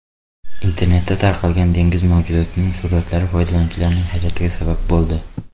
Internetda tarqalgan dengiz mavjudotining suratlari foydalanuvchilarning hayratiga sabab bo‘ldi.